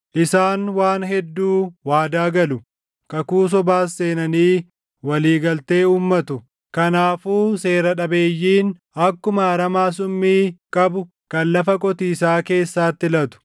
Isaan waan hedduu waadaa galu; kakuu sobaas seenanii walii galtee uummatu; kanaafuu seera dhabeeyyiin akkuma aramaa summii qabu kan lafa qotiisaa keessaatti latu.